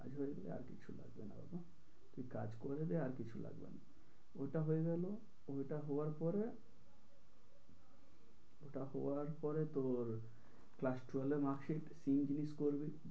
আশা করি আর কিছু লাগবে না বাবা। তুই কাজ করে দে আর কিছু লাগবে না। ওটা হয়ে গেল ওটা হওয়ার পরে ওটা হওয়ার পরে তোর class twelve এর marksheet করবে।